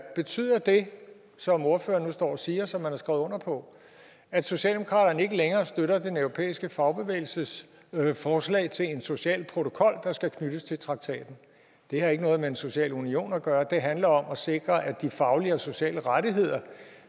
er betyder det som ordføreren nu står og siger og som man har skrevet under på at socialdemokratiet ikke længere støtter den europæiske fagbevægelses forslag til en social protokol der skal knyttes til traktaten det har ikke noget med en social union at gøre det handler om at sikre at de faglige og sociale rettigheder